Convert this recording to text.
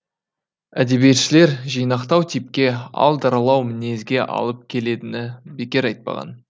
әдебиетшілер жинақтау типке ал даралау мінезге алып келедіні бекер айтпаған